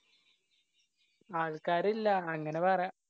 ആള്‍ക്കാരില്ലാ അങ്ങനെ പറയാം.